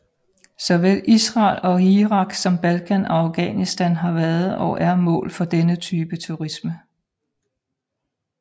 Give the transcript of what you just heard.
Såvel Israel og Irak som Balkan og Afghanistan har været og er mål for denne type turisme